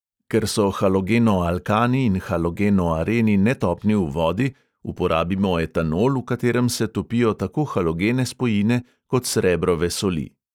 Ker so halogenoalkani in halogenoareni netopni v vodi, uporabimo etanol, v katerem se topijo tako halogene spojine kot srebrove soli.